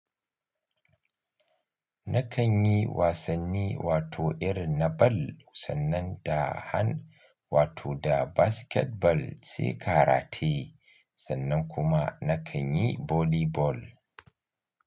Nakan yi wasanni wato irin na ball sannan da han wato da basketball sai karate, sannan kuma nakan yi boli ball.